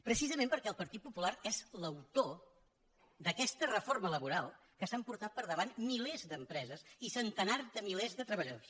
precisament perquè el partit popular és l’autor d’aquesta reforma laboral que s’ha emportat pel davant milers d’empreses i centenars de milers de treballadors